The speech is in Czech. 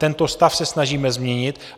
Tento stav se snažíme změnit.